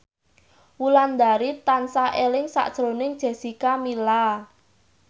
Wulandari tansah eling sakjroning Jessica Milla